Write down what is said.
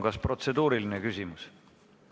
Kas protseduuriline küsimus?